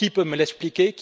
Qui peut me l'expliquer?